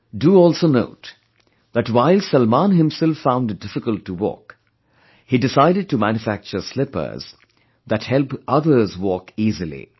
Do also note, that while Salman himself found it difficult to walk, he decided to manufacture slippers, that help others walk easily